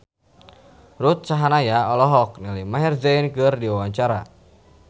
Ruth Sahanaya olohok ningali Maher Zein keur diwawancara